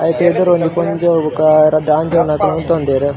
ಐತ ಎದುರು ಒಂಜಿ ಪೊಜೊವು ಬೊಕ ರಡ್ಡ್ ಆಂಜೊವುನಕುಲು ಉಂತೊದೆರ್.